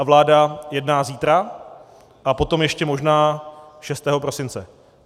A vláda jedná zítra a potom ještě možná 6. prosince.